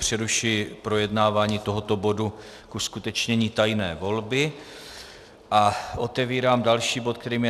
Přerušuji projednávání tohoto bodu k uskutečnění tajné volby a otevírám další bod, kterým je